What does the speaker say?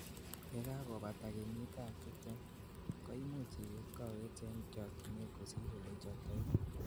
yekakobata kenyit ab tibtem ,koimuch ibet kowet en chokyinet kosir ole ichobtoi